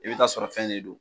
I be t'a sɔrɔ fɛn ne don